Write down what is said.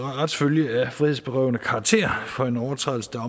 retsfølge af frihedsberøvende karakter for en overtrædelse der